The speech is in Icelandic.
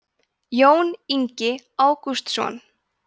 jón ingi ágústsson